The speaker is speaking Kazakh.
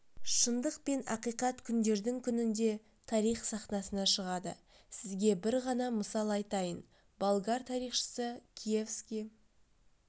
шындық пен ақиқат күндердің күнінде тарих сахнасына шығады сізге бір ғана мысал айтайын болгар тарихшысы киевский